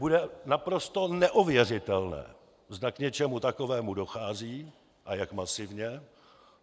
Bude naprosto neověřitelné, zda k něčemu takovému dochází a jak masivně.